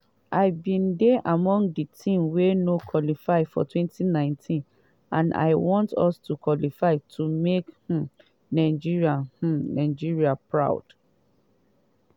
i bin dey among di team wey no qualify for 2019 and i want us to qualify to make um nigeria um nigeria proud.